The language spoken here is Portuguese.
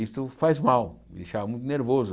Isso faz mal, me deixava muito nervoso.